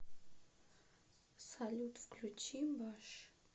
салют включи баш